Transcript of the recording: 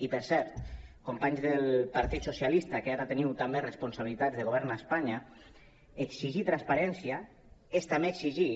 i per cert companys del partit socialista que ara teniu també responsabilitats de govern a espanya exigir transparència és també exigir